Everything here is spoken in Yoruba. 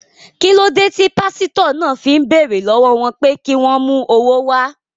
Kí ló dé tí pásítọ̀ náà fi ń béèrè lọ́wọ́ wọn pé kí wọ́n mú owó wá?